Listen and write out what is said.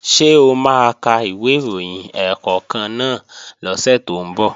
Ṣé o máa ka ìwé ìròyìn ẹ̀ẹ̀kọ̀kan náà lọ́sẹ̀ tó ń bọ̀?